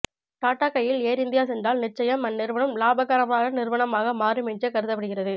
டாடா கையில் Air India சென்றால் நிச்சயம் அந்நிறுவனம் லாபகரமான நிறுவனமாக மாறும் என்றே கருதப்படுகிறது